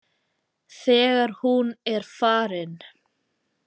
Þegar hún er farin.